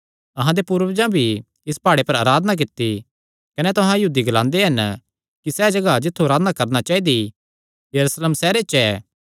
अहां दे पूर्वजां भी इसी प्हाड़े पर अराधना कित्ती कने तुहां यहूदी ग्लांदे हन कि सैह़ जगाह जित्थु अराधना करणा चाइदी यरूशलेम सैहरे च ऐ